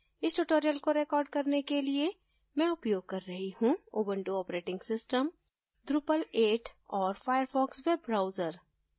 इस tutorial को record करने के लिए मैं उपोयग कर रही हूँ उबंटु operating system drupal 8 और firefox web browser